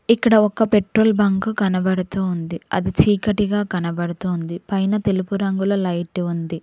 ఇక్కడ ఒక petrol bunk కనబడుతూ ఉంది అది చీకటిగా కనబడుతోంది పైన తెలుపు రంగులో లైట్ ఉంది.